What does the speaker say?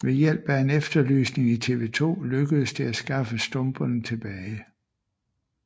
Ved hjælp af en efterlysning i TV2 lykkedes det at skaffe stumperne tilbage